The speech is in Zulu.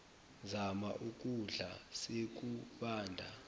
zama ukukudla sekubanda